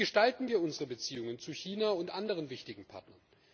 Wie gestalten wir unsere Beziehungen zu China und anderen wichtigen Partnern?